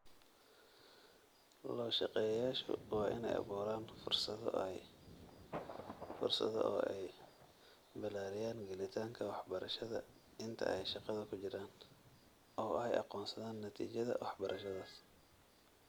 Loo-shaqeeyayaashu waa inay abuuraan fursado oo ay ballaariyaan gelitaanka waxbarashada inta ay shaqada ku jiraan, oo ay aqoonsadaan natiijada waxbarashadaas.